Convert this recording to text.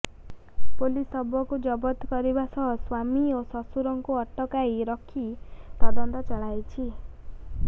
police ଶବକୁ ଜବତ କରିବା ସହ ସ୍ୱାମୀ ଓ ଶଶୁରଙ୍କୁ ଅଟକାଇ ରଖି ତଦନ୍ତ ଚଳାଇଛି